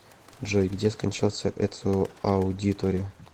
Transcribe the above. джой где скончался эцио аудиторе